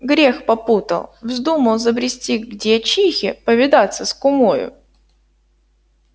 грех попутал вздумал забрести к дьячихе повидаться с кумою